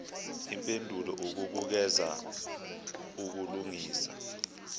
impendulo ukubukeza ukulungisa